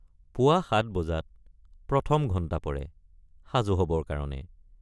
পুৱা ৭ বজাত প্ৰথম ঘণ্টা পৰে সাজু হবৰ কাৰণে।